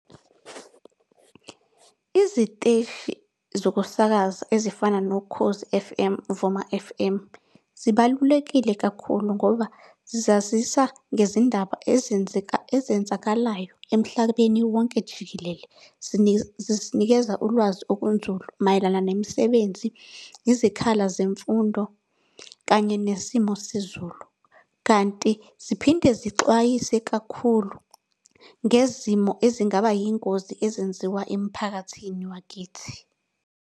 Iziteshi zokusakaza ezifana noKhozi F_M, Vuma F_M, zibalulekile kakhulu ngoba zazisa ngezindaba ezenzakalayo emhlabeni wonke jikelele. Zisinikeza ulwazi okunzulu mayelana nemisebenzi, izikhala zemfundo kanye nesimo sezulu. Kanti ziphinde zixwayise kakhulu ngezimo ezingaba yingozi ezenziwa emphakathini wakithi.